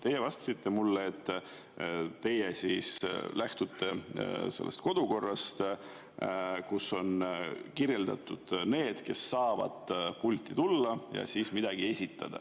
Teie vastasite mulle, et teie lähtute kodukorrast, kus on kirjas need, kes saavad pulti tulla ja midagi esitada.